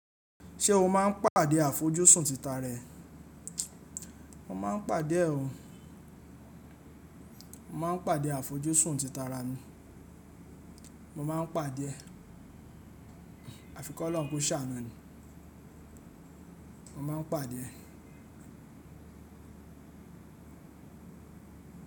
Ṣé o máa ń pàdé àfojúsùn títara rẹ̀? Mo máa ń pàdé ẹ o. Mo máa ń pàdé àfojúsùn títara mi. Mo máa ń pàdé ẹ. Àfikọ́ Ọlọ́run kó ṣàánú ni. Mo máa ń pàdé ẹ.